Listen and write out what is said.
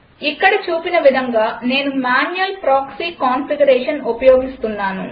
ఇక్కడ చూపిన విధంగా నేను మ్యాన్యుయల్ ప్రాక్సీ కాన్ఫిగరేషన్ ఉపయోగిస్తున్నాను